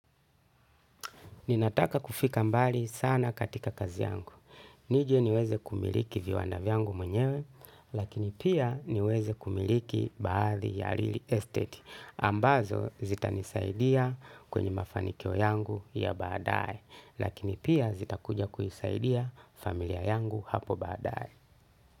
Ninataka kufika mbali sana, katika kazi yangu. Nije niweze kumiliki viwanda vyangu mwenyewe, lakini pia, niweze kumiliki baadhi ya lili estate. Ambazo, zitanisaidia, kwenye mafanikio yangu ya baadae, lakini pia, zitakuja kuisaidia, familia yangu hapo baadae.